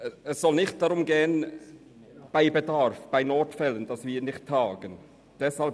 Es soll nicht darum gehen, dass bei tatsächlichem Bedarf oder Notfällen nicht getagt werden kann.